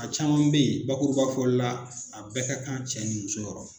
A caman be ye bakuruba fɔli la a bɛɛ ka kan cɛ ni muso yɔrɔ.